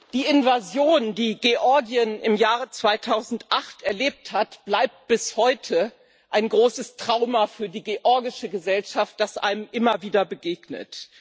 Die Invasion, die Georgien im Jahr 2008 erlebt hat, bleibt bis heute ein großes Trauma für die georgische Gesellschaft, das einem immer wieder begegnet.